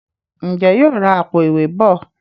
Njé yóò rá Àpò-ìwé bọ?